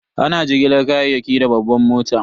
Ana jigilar kayayyaki da babban mota.